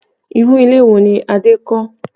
Irú ilé wo ni Adé kọ́?